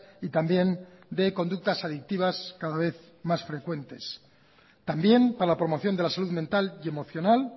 y también de conductas adictivas cada vez más frecuentes también para la promoción de la salud mental y emocional